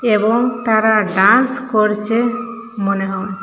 এবং তারা ডান্স করছে মনে হয়।